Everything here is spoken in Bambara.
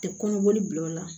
Tɛ kɔnɔboli bila o la